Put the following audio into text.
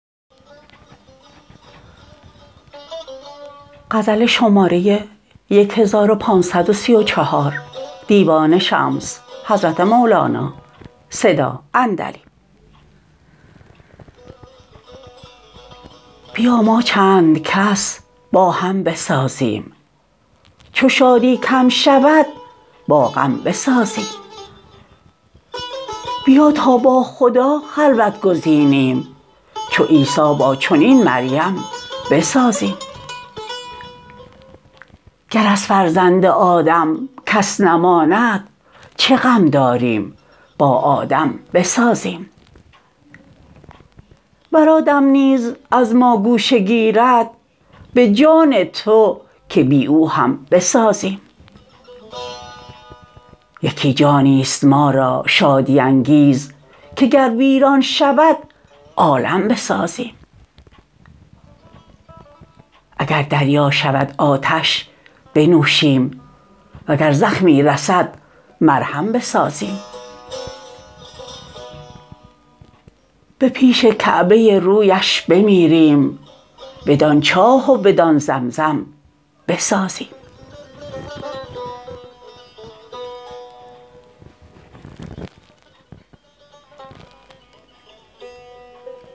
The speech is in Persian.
بیا ما چند کس با هم بسازیم چو شادی کم شود با غم بسازیم بیا تا با خدا خلوت گزینیم چو عیسی با چنین مریم بسازیم گر از فرزند آدم کس نماند چه غم داریم با آدم بسازیم ور آدم نیز از ما گوشه گیرد به جان تو که بی او هم بسازیم یکی جانی است ما را شادی انگیز که گر ویران شود عالم بسازیم اگر دریا شود آتش بنوشیم وگر زخمی رسد مرهم بسازیم به پیش کعبه رویش بمیریم بدان چاه و بدان زمزم بسازیم